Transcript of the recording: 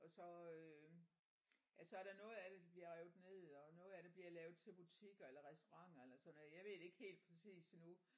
Og så øh ja så er der noget af det der bliver revet ned og noget af det bliver lavet til butikker eller restauranter eller sådan noget jeg ved det ikke helt præcist endnu